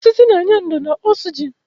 Osisi na-enye ndò na oxygen.